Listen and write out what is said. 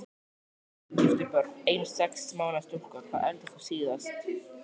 Giftur Börn: Ein sex mánaða stúlka Hvað eldaðir þú síðast?